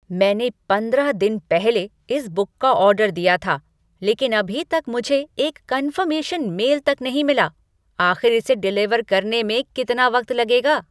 मैंने पंद्रह दिन पहले इस बुक का ऑर्डर दिया था, लेकिन अभी तक मुझे एक कन्फर्मेशन मेल तक नहीं मिला। आख़िर इसे डिलीवर करने में कितना वक्त लगेगा?